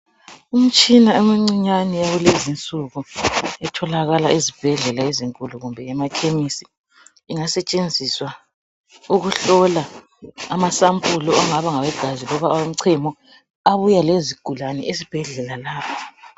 Imitshina emincinyane yakulezi nsuku itholakala ezibhedlela ezinkulu kumbe emakhemisi ingasetshenziswa ukuhlola amasampulu angabe ngawegazi loba awomchemo abuya lezigulani ezibhedlela